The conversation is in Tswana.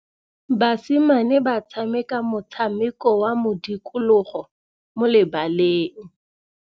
Basimane ba tshameka motshameko wa modikologô mo lebaleng.